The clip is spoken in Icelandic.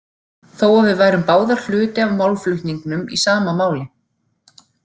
Þó að við værum báðar hluti af málflutningnum í sama máli.